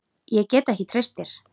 Ég get ekki treyst þér.